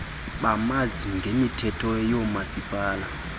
bamanzi ngemithetho yoomasipala